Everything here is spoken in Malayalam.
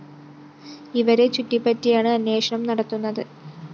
ഇവരെ ചുറ്റിപ്പറ്റിയാണ് അന്വേഷണം നടത്തുന്നത്